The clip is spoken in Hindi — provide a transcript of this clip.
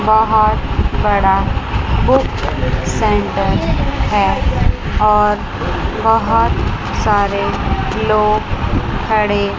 बहुत बड़ा बुक सेंटर है और बहुत सारे लोग खड़े--